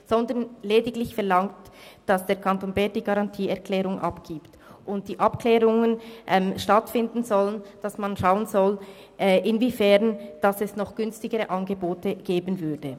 Es wird lediglich verlangt, dass der Kanton Bern die Garantieerklärung abgibt, dass die Abklärungen stattfinden sollen und dass man schauen soll, inwiefern es noch günstigere Angebote geben würde.